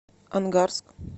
ангарск